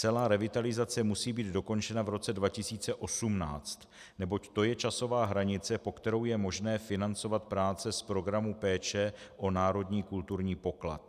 Celá revitalizace musí být dokončena v roce 2018, neboť to je časová hranice, po kterou je možné financovat práce z Programu péče o národní kulturní poklad.